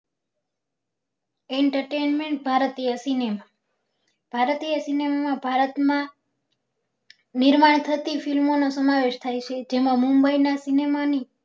Entertainment ભારતીય cinema ભારતીય cinema માં ભારત માં નિર્માણ થતી film નો સમાવેશ થાય છે જેમાં mumbai ના cinema ની